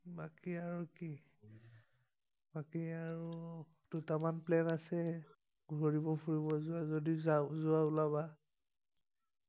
বাকি আৰু দুটামান প্লেন আছে ঘূৰিব ফুৰিব যোৱা যদি যাও যোৱা ওলাবা